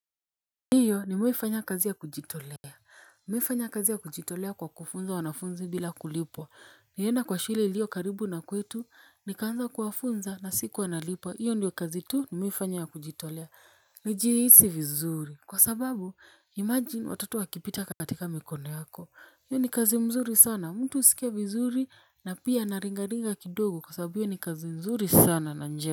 Ndiyo nimewai fanya kazi ya kujitolea. Nimewai fanya kazi ya kujitolea kwa kufunza wanafunzi bila kulipwa. Nilienda kwa shule iliyo karibu na kwetu. Nikaanza kuwafunza na sikuwa nalipwa. Iyo ndio kazi tu nimewaifanya ya kujitolea. Najihisi vizuri. Kwa sababu, "imagine" watoto wakipita katika mikono yako. Iyo ni kazi mzuri sana. Mtu huskia vizuri na pia naringaringa kidogo. Kwa sababu hiyo ni kazi mzuri sana na njema.